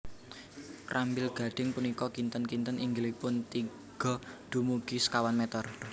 Krambil gadhing punika kinten kinten inggilipun tiga dumugi sekawan meter